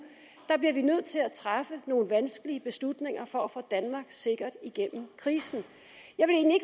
bliver vi nødt til at træffe nogle vanskelige beslutninger for at få danmark sikkert igennem krisen